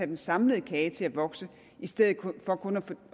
den samlede kage til at vokse i stedet for kun